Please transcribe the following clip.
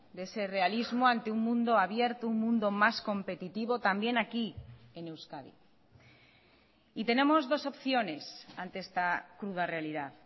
de ese realismo ante un mundo abierto un mundo más competitivo también aquí en euskadi y tenemos dos opciones ante esta cruda realidad